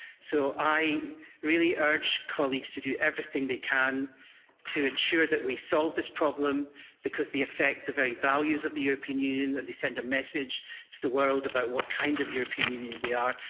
So I really urge colleagues to do everything they can to ensure that we solve this problem, because it affects the very values of the European Union we send a message to the world about what kind of European Union we are.